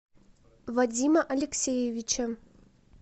вадима алексеевича